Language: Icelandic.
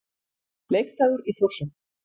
Leikdagur í Þórshöfn.